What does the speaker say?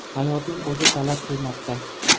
Hayotning o‘zi talab qilmoqda.